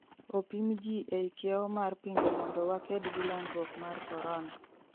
opim jii ei kiewo mar pinje mondo waked gi landruok mar corona